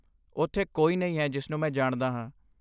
ਉੱਥੇ ਕੋਈ ਨਹੀਂ ਹੈ ਜਿਸਨੂੰ ਮੈਂ ਜਾਣਦਾ ਹਾਂ।